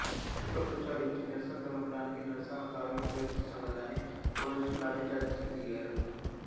పుష్పగుచ్ఛాలు ఇచ్చి నిరసన తెలపడానికి నిరసనకారులు ప్రయత్నిస్తుండగానే పోలీసులు లాఠీచార్జికి దిగారు